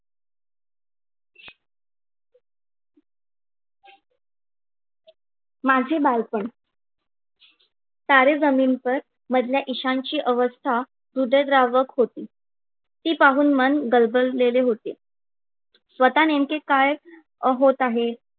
माझे बालपण. तारे जमीन पर मधला ईशान ची अवस्था हृदयद्रावक होती. ती पाहून मन गलबजलेले होते. स्वतः नेमके काय होत आहे